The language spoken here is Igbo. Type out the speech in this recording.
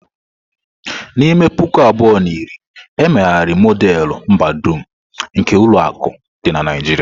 N'ime puku abụọ na iri, e megharịrị Modelu mbadum nke ulo akụ di na Naijiria.